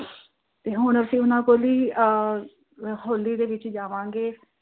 ਹੁਣ ਅਸੀਂ ਉਹਨਾਂ ਕੋਲ ਹੀ ਅਹ ਹੋਲੀ ਦੇ ਵਿੱਚ ਜਾਵਾਂਗੇ।